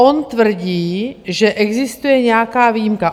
On tvrdí, že existuje nějaká výjimka.